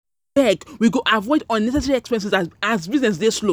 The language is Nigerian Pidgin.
we go avoid unnecessary expenses as, as business dey slow.